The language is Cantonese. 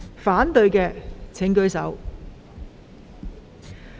反對的請舉手。